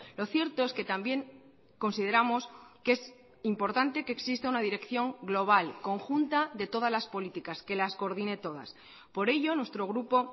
lo cierto es que también consideramos que es importante que exista una dirección global conjunta de todas las políticas que las coordine todas por ello nuestro grupo